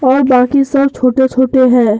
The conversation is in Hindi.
और बाकी सब छोटे-छोटे हैं।